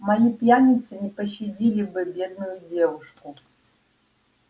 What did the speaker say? мои пьяницы не пощадили бы бедную девушку